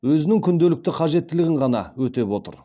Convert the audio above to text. өзінің күнделікті қажеттілігін ғана өтеп отыр